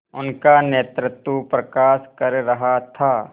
उनका नेतृत्व प्रकाश कर रहा था